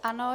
Ano.